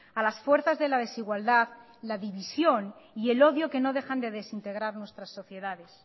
a las fuerzas de la desigualdad la división y el odio que no dejan de desintegrar nuestras sociedades